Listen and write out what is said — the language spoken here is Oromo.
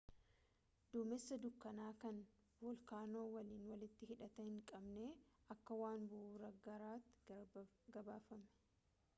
duumessa dukkana kan voolkaanoo waliin walitti hidhata hin qabne akka waan bu'uuraa gaaraatti gabaafame